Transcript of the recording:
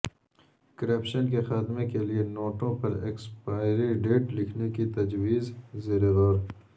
corruption کے خاتمے کیلئے نوٹوں پر ایکسپائری ڈیٹ لکھنے کی تجویز زیر غور